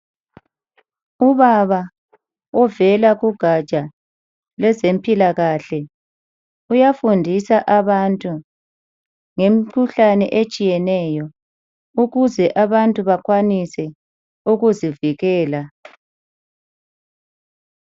Ubaba ovela kugatsha lwezempilakahle uyafundisa abantu ngemikhuhlane etshiyeneyo ukuze abantu bakwanise ukuzivikela.